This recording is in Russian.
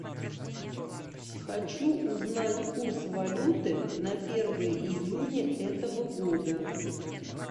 хочу узнать курс валюты на первое июня этого года